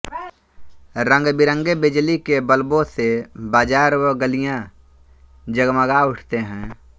रंगबिरंगे बिजली के बल्बों से बाज़ार व गलियाँ जगमगा उठते हैं